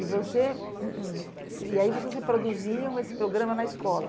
E você... E aí vocês reproduziam esse programa na escola?